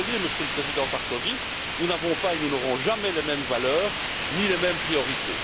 Désolé, Monsieur le Président Sarkozy, nous n'avons pas et nous n'aurons jamais les mêmes valeurs ni les mêmes priorités.